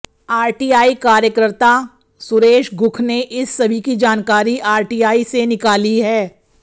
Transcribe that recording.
RTI कार्यकर्ता सुरेश गुरव ने इस सभी की जानकारी आरटीआई से निकाली है